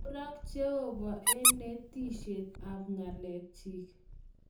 kurak jehova eng netishiet ab ngalek chik